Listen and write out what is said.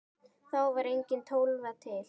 Þá var engin Tólfa til!